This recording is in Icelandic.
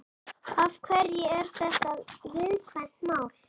Af hverju er þetta viðkvæmt mál?